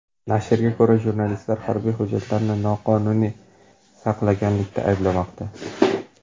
Nashrga ko‘ra, jurnalistlar harbiy hujjatlarni noqonuniy saqlaganlikda ayblanmoqda.